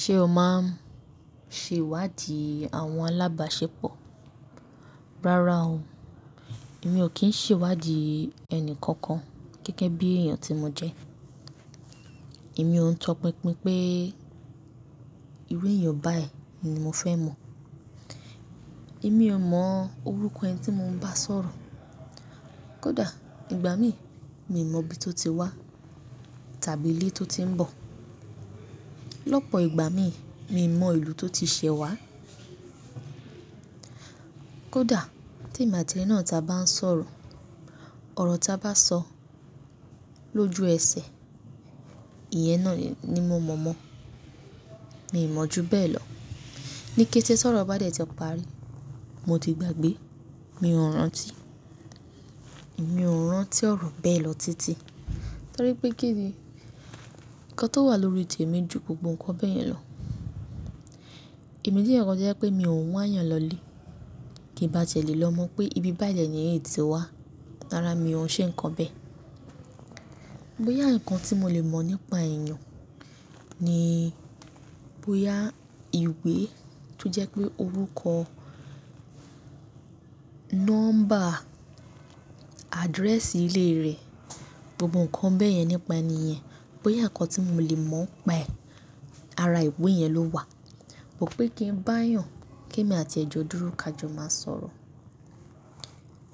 Ṣé o máa ń ṣe ìwádìí àwọn alábàáṣepọ̀? Rárá o, èmi ò kí ń ṣe ìwádìí ẹni kankan gẹ́gẹ́ bí èèyàn tí mo jẹ́. Èmi ò ń tọ pinpin pé, ìru èèyàn báyìí ni mo fẹ́ mọ̀. Èmi ò mọ orúkọ ẹni tí mò ń bá sọ̀rọ̀. Kódà ìgbà mi, mi ò mọ ibi tó ti wá tàbí ilé tó ti ń bọ̀. Lọ́pọ̀ ìgbà mi, mi ò mọ ìlú tó ti ṣẹ́ wá. Kódà tí emi ati eni náà ta bá ń sọ̀rọ̀, ọ̀rọ̀ ta bá sọ lójú ẹsẹ̀, ìyẹn náà ni mò mọ̀ mọ́. Mi ò mọ̀ ju bẹ́ẹ̀ lọ. Ni kété ti ọ̀rọ̀ bá dé tí parí, mo ti gbàgbé, mi ò rán tí i, mi ò rán tí ọ̀rọ̀ bẹ́ẹ̀ lọ títí. Torí pé kí ni? Ǹkan tó wà lórí tèmi ju gbogbo ǹkan bẹ́ẹ̀ yẹn lọ. Èmi je eeyan kan to jẹ́ pé mi ò ń wá eeyan lọlé. Ki n bá tiẹ́ le lọ mọ̀ pé ibi báyìí deni èni iyí ti wá, rárá mi ò ṣe ǹkan bẹ́ẹ̀. Bóyá ǹkan tí mo lè mọ̀ nípa èèyàn ni, bóyá ìwé tó jẹ́ pé orúkọ, nọ́mbà, àdírẹ́ẹ̀sì ilé rẹ̀ gbogbo ǹkan bẹ́ẹ̀ yẹn nípa ènì yen, bóyá ǹkan tí mo lè mọ̀ n paẹ́, ara ìwé yẹn ló wà. But pé kí n bá yàn kí èmi àti ẹ̀ jọ̀ dúró ká jọ máa sọ̀rọ̀.